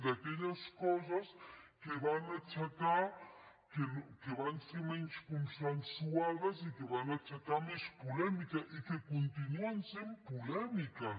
d’aquelles coses que van ser menys consensuades i que van aixecar més polèmica i que continuen sent polèmiques